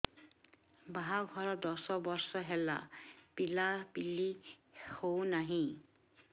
ବାହାଘର ଦଶ ବର୍ଷ ହେଲା ପିଲାପିଲି ହଉନାହି